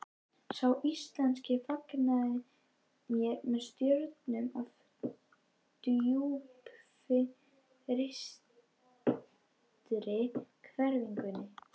Sá íslenski fagnaði mér með stjörnum á djúpfrystri hvelfingunni.